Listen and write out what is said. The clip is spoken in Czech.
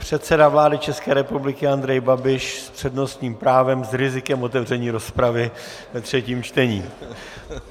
Předseda vlády České republiky Andrej Babiš s přednostním právem s rizikem otevření rozpravy ve třetím čtení.